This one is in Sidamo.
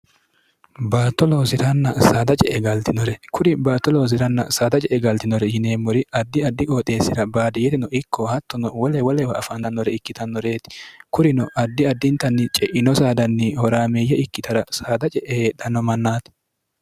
batto loosirannsda ce e galtinore kuri baatto loosi'ranna saada ce e galtinore yineemmori addi addi qooxeessira baadiyerino ikko hattono wolewoleewa afaanannore ikkitannoreeti kurino addi addintanni ce'ino saadanni horaameeyye ikkitara saada ce'e heedhanno mannaati